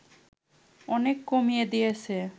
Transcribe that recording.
অনেক কমিয়ে দিয়েছে